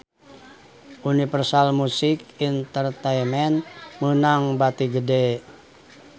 Universal Music Entertainment meunang bati gede